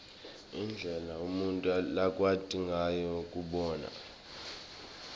indlela umuntfu lakwati ngayo kubona